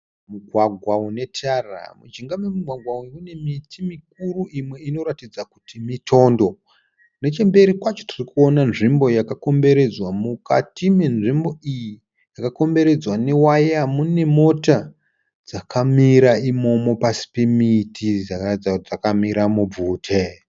Mugwagwa une tara. Mujinga memugwagwa uyu mune miti mikuru imwe inoratidza kuti mitondo. Nechemberi kwacho tirikuona nzvimbo yakakomberedzwa. Mukati menzvimbo iyi yakakomberedzwa ne waya mune mota dzakamira imomo pasi pemiti. Dzakaratidza kuti dzakamira mubvute.